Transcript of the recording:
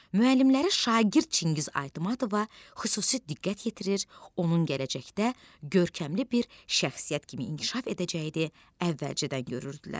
Müəllimləri şagird Çingiz Aytmatova xüsusi diqqət yetirir, onun gələcəkdə görkəmli bir şəxsiyyət kimi inkişaf edəcəyini əvvəlcədən görürdülər.